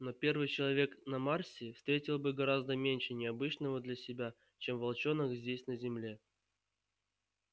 но первый человек на марсе встретил бы гораздо меньше необычного для себя чем волчонок здесь на земле